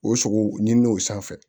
O sogo ɲinini sanfɛ